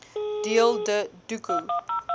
deel de doku